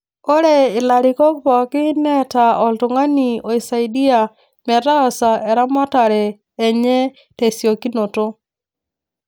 Ore ilarikok pooki neeta oltung'ani oisaidia metaasa eramatare enye tesiokinoto